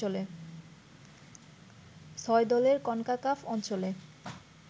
ছয় দলের কনকাকাফ অঞ্চলে